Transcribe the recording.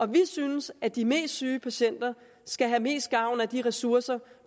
vi synes at de mest syge patienter skal have mest gavn af de ressourcer